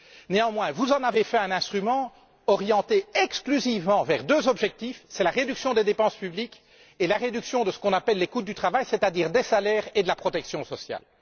Néanmoins, vous en avez fait un instrument orienté exclusivement vers deux objectifs la réduction des dépenses publiques et la réduction de ce qu'on appelle les coûts du travail, c'est à dire des salaires et de la protection sociale.